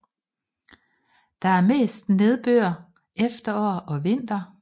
Der er mest nedbør efterår og vinter